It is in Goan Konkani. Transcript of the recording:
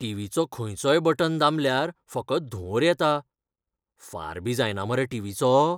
टीव्हीचो खंयचोय बटन दामल्यार फकत धुंवोर येता. फारबी जायना मरे टीव्हीचो?